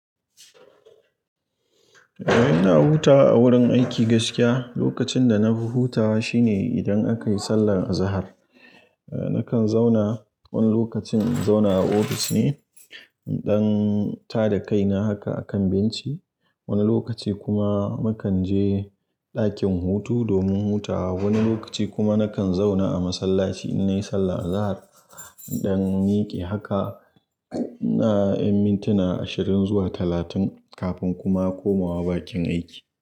Eh, ina hutawa a wurin aiki gaskiya. Lokacin da nafi hutawa shine idan aka yi sallar Azahar. Nakan zauna, wani lokacin in zauna a ofis ne, in ɗan tada kaina haka a kan benci. Wani lokaci kuma mukan je ɗakin hutu domin hutawa. Wani lokaci kuma nakan zauna a masallaci in nayi sallar Azahar, in ɗan miƙe haka, na ƴan mintuna ashirin zuwa talatin, kafin kuma komawa bakin aiki.